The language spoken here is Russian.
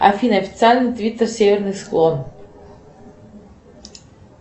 афина официальный твиттер северный склон